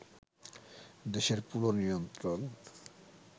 দেশের পুরো নিয়ন্ত্রণ